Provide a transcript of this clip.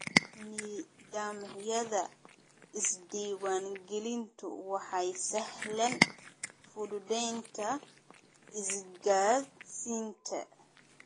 Nidaamyada isdiiwaangelintu waxay sahlaan fududaynta isgaadhsiinta.